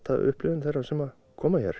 upplifun þeirra sem koma hér